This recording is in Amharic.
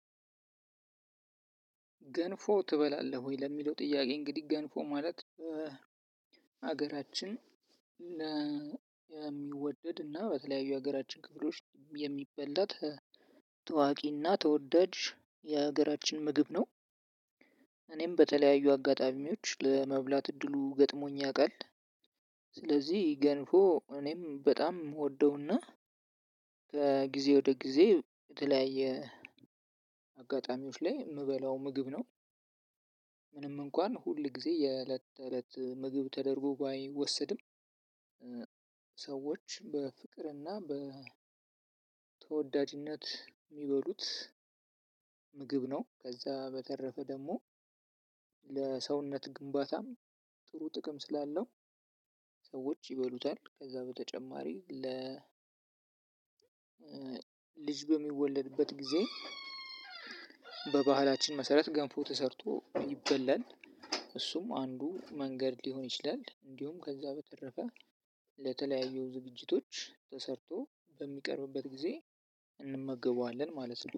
ገንፎ? ትበላለህ ወይ ለሚለው ጥያቄ እንግዲህ ገንፎ ማለት ሀገራችን የሚወደድ እና በተለያዩ ሀገራችን ክፍሎች የሚበላ ታዋቂና ተወዳጅ የሀገራችን ምግብ ነው። እኔም በተለያዩ አጋጣሚዎች ለመብላት እድሉ ገጥሞኝ ያውቃል። ስለዚህ ገንፎ እኔም በጣም እምወደውና ከጊዜ ወደ ጊዜ የተለያየ አጋጣሚዎች ላይ የምበላው ምግብ ነው። ምንም እንኳን ሁል ጊዜ የእለት እለት ምግብ ተደርጎ ባይወሰድም ሰዎች በፍቅርና በተወዳጅነት የሚበሉት ምግብ ነው። ከዛ በተረፈ ደግሞ ለሰውነት ግምባታም ጥሩ ጥቅም ስላለው ሰዎች ይበሉታል። ከዛ በተጨማሪ ለ ልጅ በሚወለድበት ጊዜ በባህላችን መሰረት ገንፎ ተሰርቶ ይበላል እሱም አንዱ መንገድ ሊሆን ይችላል። እንዲሁም ከዛ በተረፈ ለተለያዩ ዝግጅቶች ተሰርቶ በሚቀርብበት ጊዜ እንመገበዋለን ማለት ነው